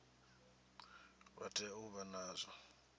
vha tea u vha nazwo